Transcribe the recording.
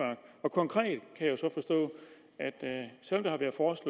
konkret er sådan